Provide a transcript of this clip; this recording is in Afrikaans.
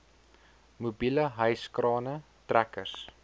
mobiele hyskrane trekkers